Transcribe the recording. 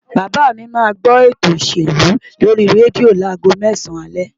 Bàbá mi máa gbó eto òṣèlú lórí rédíò láago mẹ́sàn-án alẹ́